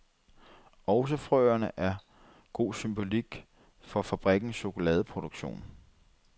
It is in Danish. Også frøerne er god symbolik for fabrikkens chokoladeproduktion.